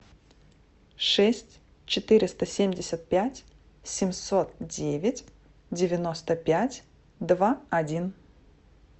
шесть четыреста семьдесят пять семьсот девять девяносто пять два один